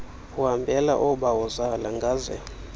uhambela oobawozala ngaze